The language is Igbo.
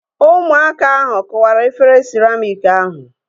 Ụmụaka ahu kụwara efere siramịk ahu